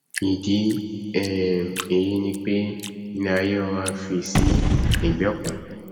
ìdí um èyí ni pé iléaiyé rọra fì sí egbẹ kan